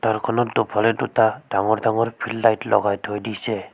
তাৰখনত দুফালে দুটা ডাঙৰ ডাঙৰ ফিল্ড লাইট লগাই থৈ দিছে।